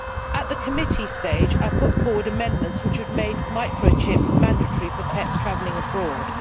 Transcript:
At the committee stage I put forward amendments which would make microchips mandatory for pets travelling abroad.